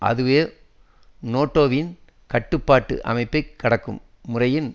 அதுவே நேட்டோவின் கட்டுப்பாட்டு அமைப்பை கடக்கும் முறையில்